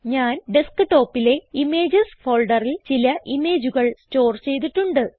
ഞാൻ ഡെസ്ക്ടോപ്പിലെ ഇമേജസ് ഫോൾഡറിൽ ചില ഇമേജുകൾ സ്റ്റോർ ചെയ്തിട്ടുണ്ട്